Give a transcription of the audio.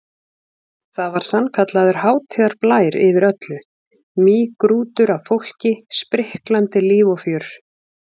Það var sannkallaður hátíðarblær yfir öllu, mýgrútur af fólki, spriklandi líf og fjör.